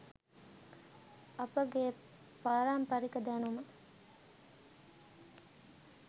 අපගේ පාරම්පරික දැනුම